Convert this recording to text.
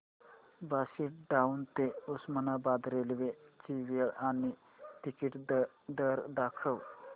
Barshi town ते Osmanabad railway ची वेळ आणि तिकीट दर दाखव